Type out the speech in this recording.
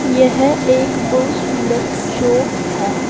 यह एक बहुत सुंदर चौक है।